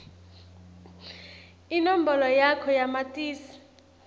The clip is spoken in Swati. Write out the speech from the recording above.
inombolo yakho yamatisi